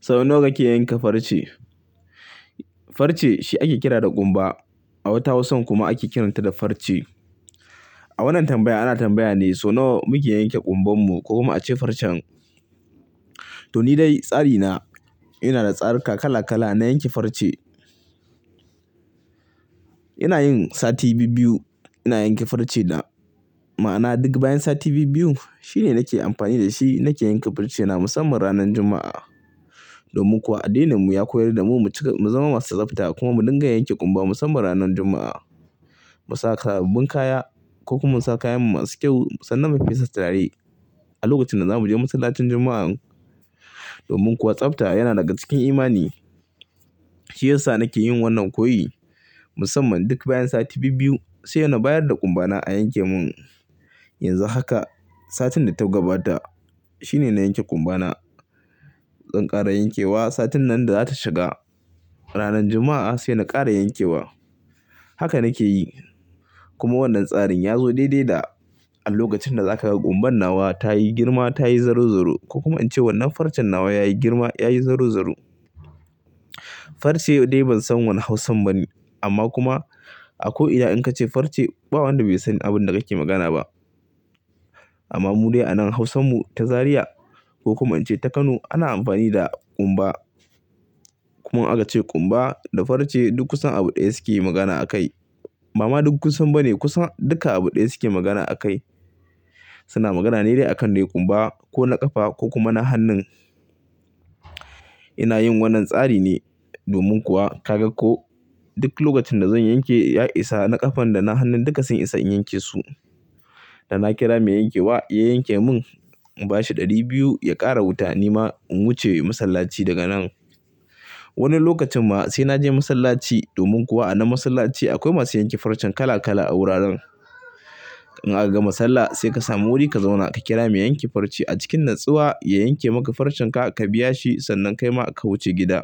So nawa kake yanka farce? Farce shi ake kira da ƙumba. A wata Hausan kuma ake kiranta da farce. A wannan tambaya ana tambaya ne so nawa muke yanke ƙumban mu ko kuma a ce farcen. To ni dai tsari na, ina da tsarika kala kala na yanke farce. Ina yin sati bibbiyu ina yanke farce na. Ma'ana duk bayan sati bibbiyu shine nake amfani da shi nake yanke farcena musamman ranan Juma'a. Domin kuwa addininmu ya koyar da mu mu cika-- mu zama masu tsafta kuma mu dinga yanke ƙumba musamman ranan Jumma'a. Mu sa sababbin kaya ko kuma mu sa kayanmu masu kyau sannan mu fesa turare a lokacin da za mu je masallacin Jumma'an. Domin kuwa tsafta yana daga cikin imani. Shi yasa nake yin wannan koyi musamman duk bayan sati bibbiyu sai nabayarda ƙumba na a yanke mun. Yanzu haka, satin da ta gabata shine na yanke ƙumba na. Zan ƙara yankewa satin nan da za ta shiga. Ranan Jumma'a sai na ƙara yankewa. Haka nake yi. Kuma wannan tsarin yazo daidai da a lokacin da zaka kumba nawa tayi girma tayi zarozaro ko kuma ince wannan farce nawa yayi girma yayi zarozaro. Farce dai ban san wane Hausan ba ne amma kuma a ko ina in ka ce farce, ba wanda bai san abin da kake magana ba. Amma mu dai anan hausan mu ta zariya ko kuma ince ta kano ana amfani da kumba kuma aka ce ƙumba da farce duk kusan abu ɗaya suke magana a kai. Ba ma duk kusan ba ne kusa duka abu ɗaya suke magana a kai. Suna magana ne dai akan dai ƙumba ko na ƙafa ko kuma na hannun. Ina yin wannan tsari ne domin kuwa ka ga ko duk lokacin da zan yanke ya isa na ƙafan da na hannun duka sun isa in yanke su. Da na kira mai yankewa ya yanke mun. In bashi ɗari biyu ya ƙara wuta nima in wuce masallaci daga nan. Wani lokacin ma sai na je masallaci domin kuwa a nan masallaci akwai masu yanke farcen kala kala a wuraren. In aka gama sallah sai ka sami wuri ka zauna ka kira mai yanke farce a cikin natsuwa ya yanke maka farcenka ka biya shi sannan kai ma ka wuce gida.